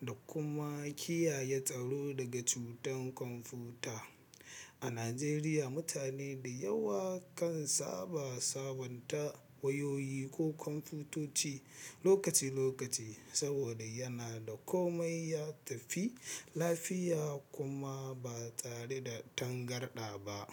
da kuma kiyaye tsaro daga cutan kwamfuta. A Najeriya, mutane da yawa kan saba sabunta wayoyi ko kwamfutoci lokaci-lokaci saboda yana da komai ya tafi lafiya kuma ba tare da tangarɗa ba.